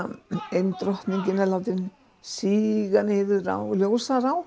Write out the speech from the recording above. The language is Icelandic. ein drottningin er látin síga niður á